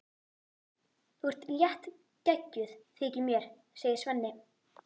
Þú ert léttgeggjuð, þykir mér, segir Svenni.